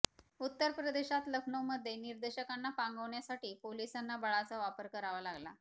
उत्तर प्रदेशात लखनौमध्ये निदर्शकांना पांगवण्यासाठी पोलिसांना बळाचा वापर करावा लागला